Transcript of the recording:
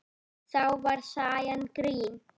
Þá var sagan grín.